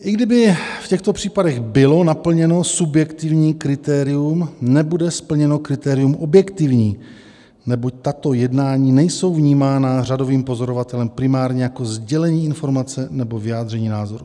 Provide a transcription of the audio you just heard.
I kdyby v těchto případech bylo naplněno subjektivní kritérium, nebude splněno kritérium objektivní, neboť tato jednání nejsou vnímána řadovým pozorovatelem primárně jako sdělení informace nebo vyjádření názoru.